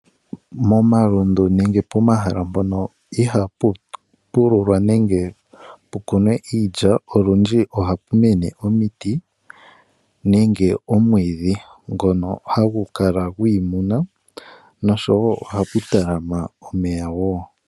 Komalundu nenge pomahala mpono ihaapu pululwa nenge pumene iilya olundji ohapu mene omiti nenge omwiidhi ngonka hagu kala gwiimuna nosho wo ohapu talama omeya woo.